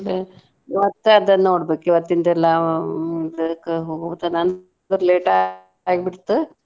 ಮತ್ತ ಅದನ್ನ್ ನೋಡ್ಬೇಕ್ ಇವತ್ತಿಂದೆಲ್ಲಾ ಹೋಗೊ ತನಾನು ಅಂದ್ರ late ಆಗ್ಬಿಡ್ತು.